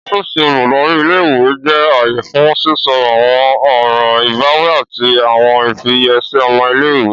Ọfíìsì oludari íle-ìwe jẹ aaye fun sisọ awọn ọran ibawi ati awọn ifiyesi ọmọ ile-iwe.